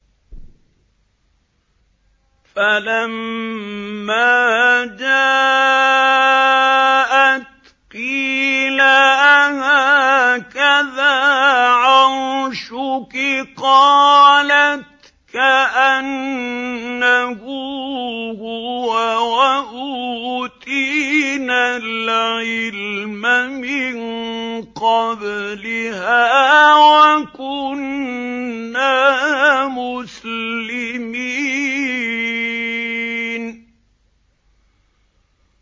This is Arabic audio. فَلَمَّا جَاءَتْ قِيلَ أَهَٰكَذَا عَرْشُكِ ۖ قَالَتْ كَأَنَّهُ هُوَ ۚ وَأُوتِينَا الْعِلْمَ مِن قَبْلِهَا وَكُنَّا مُسْلِمِينَ